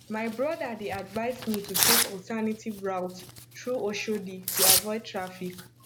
my brother dey advise me to take alternative route through oshodi to avoid traffic